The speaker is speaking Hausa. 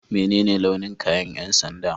Menene launin kayan ƴan sanda?